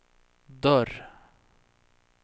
dörr